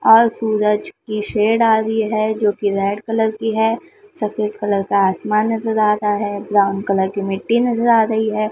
और सूरज की शेड आ रही है जो कि रेड कलर की है सफेद कलर का आसमान नजर आ रहा है ब्राउन कलर की मिट्टी नजर आ रही है।